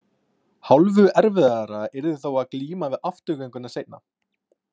Hálfu erfiðara yrði þó að glíma við afturgönguna seinna.